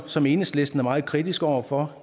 som enhedslisten er meget kritisk over for